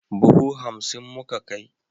Buhu hansim muka kai.